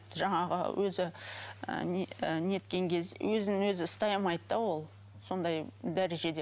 жаңағы өзі ы неткен кезде өзін өзі ұстай алмайды да ол сондай дәрежеде